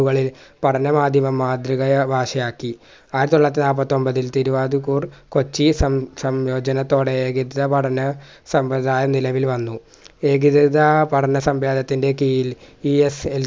കളിൽ പഠന മാധ്യമം മാതൃക ഭാഷയാക്കി ആയിതൊള്ളായിരത്തി നാപ്പത്തൊമ്പതിൽ തിരുവാതിർക്കൂർ കൊച്ചി സം സം ജനത്തോടെയായിരിക്കും ന്നെ സംവൃദായം നിലവിൽ വന്നു ഏകവേദ പഠന സംവേദത്തിൻറെ കീഴിൽ